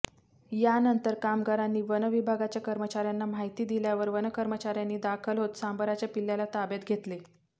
यानंतर कामगारांनी वनविभागाच्या कर्मचार्यांना माहिती दिल्यावर वनकर्मचार्यांनी दाखल होत सांबराच्या पिल्लाला ताब्यात घेतले